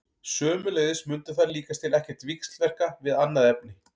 Sömuleiðis mundu þær líkast til ekkert víxlverka við annað efni.